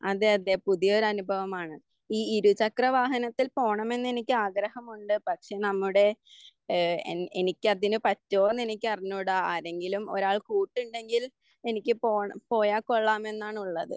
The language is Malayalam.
അതെ അതെ പുതിയ ഒരു അനുഭവമാണ് ഈ ഇരു ചക്ര വാഹനത്തിൽ എനിക്ക് പോകണമെന്നുണ്ട്. പക്ഷെ നമ്മുടെ ഏഹ് ഏഹ് എനിക്കതിന് പറ്റോ എന്ന് എനിക്കറിഞ്ഞൂടാ ആരെങ്കിലും ഒരാൾ കൂട്ടുണ്ടെങ്കിൽ എനിക്ക് പോണം പോയാ കൊള്ളാം എന്നാണുള്ളത്.